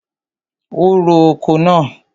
O ro oko náà.